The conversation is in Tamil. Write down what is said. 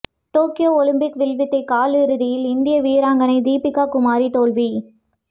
டோக்கியோ ஒலிம்பிக் வில்வித்தை காலிறுதியில் இந்திய வீராங்கனை தீபிகா குமாரி தோல்வி